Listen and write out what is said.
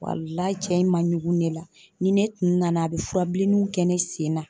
Walahi cɛ in ma ɲugun ne la. Ni ne tun nana a be furabilenninw kɛ ne sen na.